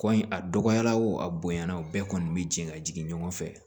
Kɔ in a dɔgɔyara o a bonyana o bɛɛ kɔni be jigin ka jigin ɲɔgɔn fɛ